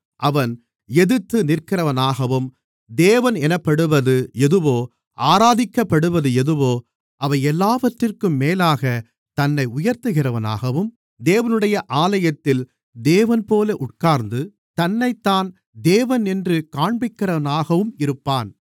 அவன் எதிர்த்து நிற்கிறவனாகவும் தேவனென்னப்படுவது எதுவோ ஆராதிக்கப்படுவது எதுவோ அவையெல்லாவற்றிற்கும்மேலாகத் தன்னை உயர்த்துகிறவனாகவும் தேவனுடைய ஆலயத்தில் தேவன்போல உட்கார்ந்து தன்னைத்தான் தேவனென்று காண்பிக்கிறவனாகவும் இருப்பான்